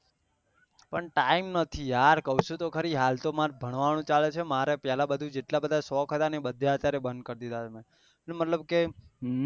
પણ time નથી યાર કહું છું તો ખરી હાલ તો મને ભણવાનું ચાલે છે મારે પેહલા બધું જેટલા બધા શોક હતા બધું અત્યારે બંદ કરી દીધા